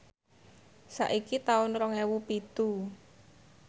saiki taun rong ewu pitu